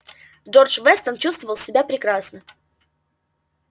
джордж вестон чувствовал себя прекрасно